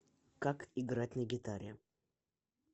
как играть на гитаре